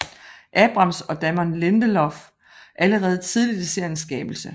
Abrams og Damon Lindelof allerede tidligt i seriens skabelse